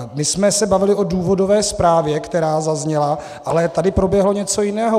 My jsme se bavili o důvodové zprávě, která zazněla, ale tady proběhlo něco jiného.